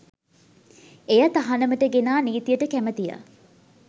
එය තහනමට ගෙනා නීතියට කැමතිය.